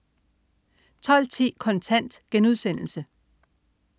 12.10 Kontant*